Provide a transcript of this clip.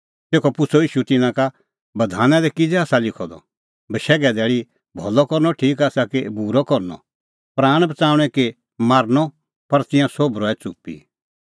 तेखअ पुछ़अ ईशू तिन्नां का बधाना दी किज़ै आसा लिखअ द बशैघे धैल़ी भलअ करनअ ठीक आसा कि बूरअ करनअ प्राण बच़ाऊंणै कि मारनअ पर तिंयां सोभ रहै च़ुप्पी